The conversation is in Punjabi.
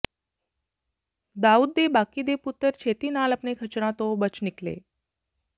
ਦਾਊਦ ਦੇ ਬਾਕੀ ਦੇ ਪੁੱਤਰ ਛੇਤੀ ਨਾਲ ਆਪਣੇ ਖੱਚਰਾਂ ਤੋਂ ਬਚ ਨਿਕਲੇ